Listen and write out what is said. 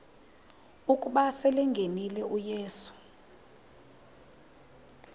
ukuba selengenile uyesu